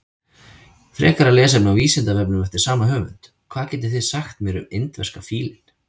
Frekara lesefni á Vísindavefnum eftir sama höfund: Hvað getið þið sagt mér um indverska fílinn?